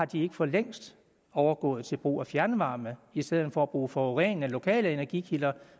de ikke for længst overgået til brug af fjernvarme i stedet for at bruge forurenende lokale energikilder